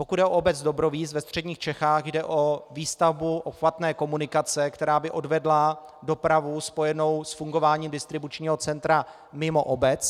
Pokud jde o obec Dobrovíz ve středních Čechách, jde o výstavbu obchvatné komunikace, která by odvedla dopravu spojenou s fungováním distribučního centra mimo obec.